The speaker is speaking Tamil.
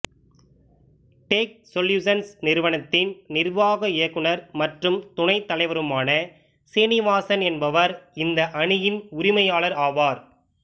டேக் சொல்யூசன்ஸ் நிறுவனத்தின் நிர்சாக இயக்குநர் மற்றும் துணைத் தலைவருமான சிறீநிவாசன் என்பவர் இந்த அணியின் உரிமையாளர் ஆவார்